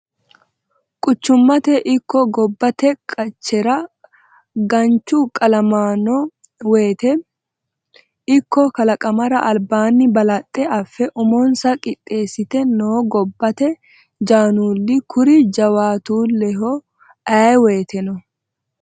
Quchumate ikko gobbate qaccera gancu kalaqamano woyte ikko kalqamara albaani balaxe affe umonsa qiixesite no gobbate jannuli kuri jawaatuleho ayee woyteno.